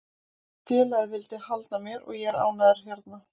Félagið vildi halda mér og ég er ánægður hérna.